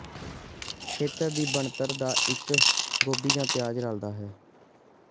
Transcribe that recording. ਖੇਤਰ ਦੀ ਬਣਤਰ ਦਾ ਇੱਕ ਗੋਭੀ ਜ ਪਿਆਜ਼ ਰਲਦਾ ਹੈ